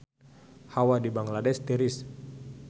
Hawa di Bangladesh tiris